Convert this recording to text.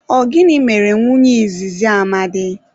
Ọ gịnị mere nwunye izizi Amadi?